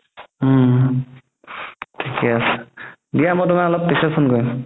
উম থিকে আছে দিয়া তুমাক অলপ মই পিছত phone কৰিম